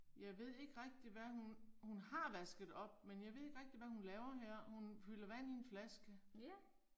Jeg ved ikke rigtig hvad hun, hun har vasket op, men jeg ved ikke rigtig hvad hun laver her, hun fylder vand i en flaske